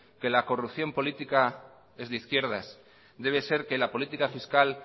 que la corrupción política es de izquierdas debe ser que la política fiscal